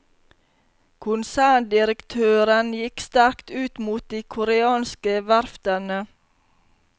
Konserndirektøren gikk sterkt ut mot de koreanske verftene.